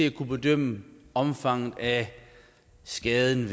at kunne bedømme omfanget af skaden